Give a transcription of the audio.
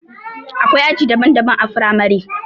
Akwai aji daban daban a firamare